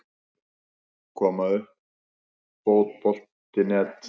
Koma uppfotbolti.net